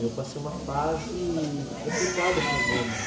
Eu passei uma fase complicada com o meu irmão.